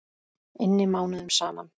inni mánuðum saman.